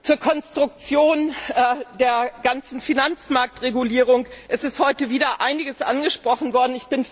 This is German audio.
Zur Konstruktion der ganzen Finanzmarktregulierung Es ist heute wieder einiges angesprochen worden.